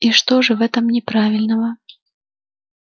и что же в этом неправильного